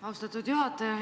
Austatud juhataja!